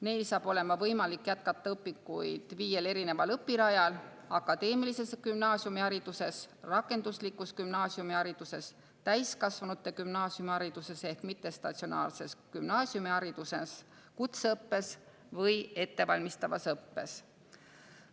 Neil saab olema võimalik jätkata õpinguid viiel õpirajal: akadeemilises gümnaasiumihariduses, rakenduslikus gümnaasiumihariduses, täiskasvanute gümnaasiumihariduses ehk mittestatsionaarses gümnaasiumihariduses, kutseõppes või ettevalmistavas õppes.